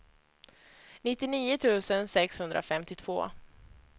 nittionio tusen sexhundrafemtiotvå